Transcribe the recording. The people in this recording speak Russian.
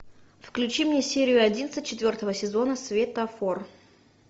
включи мне серию одиннадцать четвертого сезона светофор